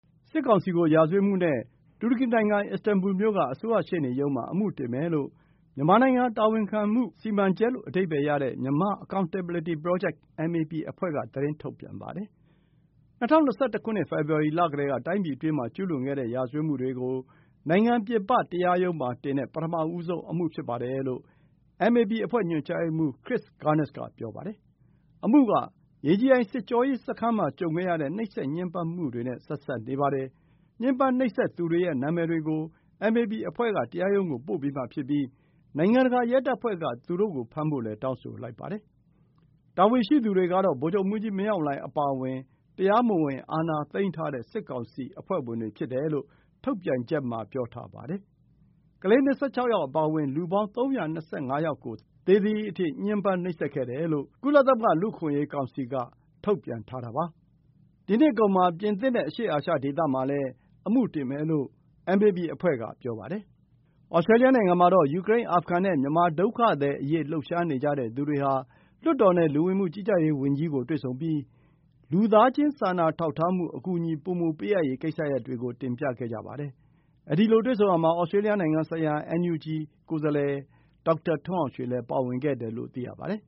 စစ်ကောင်စီကို ရာဇဝတ်မှုနဲ့ တူရကီနိုင်ငံ Istanbul မြို့က အစိုးရ ရှေ့နေရုံးမှာ အမှု တင်မယ်လို့ “မြန်မာနိုင်ငံ တာဝန်ခံမှုစီမံချက်” လို့ အဓိပ္ပါယ်ရတဲ့ Myanmar Accountability Project, MAP အဖွဲ့က သတင်းထုတ်ပြန်ပါတယ်။ ၂၀၂၁ ခုနှစ် ဖေဖော်ဝါရီလကတည်းက တိုင်းပြည်အတွင်းမှာ ကျူးလွန်ခဲ့တဲ့ ရာဇဝတ် မှုတွေကို နိုင်ငံပြင်ပတရားရုံးမှာတင်တဲ့ ပထမဆုံးအမှု ဖြစ်ပါတယ်လို့ အမ်အေပီ အဖွဲ့ ညွှန်ကြားရေးမှူး Chris Gunness က ပြောပါတယ်။ အမှုက ရေကြည်အိုင်စစ်ကြောရေးစခန်းမှာ ကြုံခဲ့ရတဲ့ နှိပ်စက်ညှင်းပန်းမှုတွေနဲ့ ဆက်စပ်နေပါတယ်။ ညှဉ်းပန်း နှိပ်စက်သူတွေရဲ့ နာမည်တွေကို အမ်အေပီအဖွဲ့က တရားရုံးကို ပို့ပေးမှာ ဖြစ်ပြီး နိုင်ငံတကာ ရဲတပ်ဖွဲ့က သူတို့ကိုဖမ်းဖို့လည်း တောင်းဆိုလိုက်ပါတယ်။ တာဝန်ရှိသူတွေကတော့ ဗိုလ်ချုပ်မှူးကြီးမင်းအောင်လှိုင်အပါအဝင် တရားမဝင် အာဏာသိမ်းထားတဲ့ စစ်ကောင်စီအဖွဲ့ဝင်တွေ ဖြစ်တယ်လို့ ထုတ်ပြန်ချက်မှာ ပြောထားပါတယ်။ ကလေး ၂၆ ယောက်အပါအဝင် လူပေါင်း ၃၂၅ ယောက်ကို သေသည်အထိ ညှဉ်းပန်း နှိပ်စက်ခဲ့တယ်လို့ ကုလသမဂ္ဂ လူ့အခွင့်အရေးကောင်စီက ထုတ်ပြန်ထားတာပါ။ ဒီနှစ်အကုန်မှာ ပြင်သစ်နဲ့ အရှေ့အာရှ ဒေသမှာလည်း အမှုတင်မယ်လို့ အမ်အေပီ အဖွဲ့က ပြောပါတယ်။ Australia နိုင်ငံမှာတော့ ယူကရိန်း အာဖဂန်နဲ့ မြန်မာ ဒုက္ခသည်အရေး လှုပ်ရှားနေကြတဲ့သူတွေဟာ လွှတ်တော်နဲ့ လူဝင်မှုကြီးကြပ်ရေးဝန်ကြီးကို တွေ့ဆုံပြီး လူသားချင်းစာနာထောက်ထားမှု အကူအညီ ပိုမို ပေးအပ်ရေးကိစ္စရပ်တွေကို တင်ပြခဲ့ပါတယ်။ အဲဒီလို တွေ့ဆုံခဲ့ရာမှာ သြစတြေးလျ နိုင်ငံဆိုင်ရာ အင်န်ယူဂျီ ကိုယ်စားလှယ် ဒေါက်တာ ထွန်းအောင်ရွှေလည်း ပါဝင်ခဲ့တယ်လို့ သိရပါတယ်